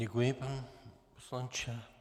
Děkuji, pane poslanče.